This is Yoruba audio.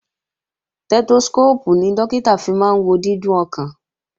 Stẹ́tóskóópù ni Dókítà fi máa wo dídún ọkàn